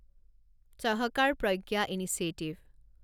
Sahakar Pragya initiative